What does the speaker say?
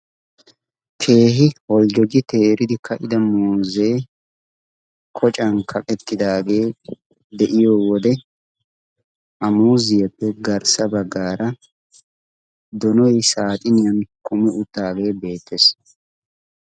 Keehi Boljjogi teeridi ka'ida muuzee kocan kamettidaagee de'iyo wode ha muziyeppe garssa baggaara donoy saaxiniyan kummi uttaagee beettees.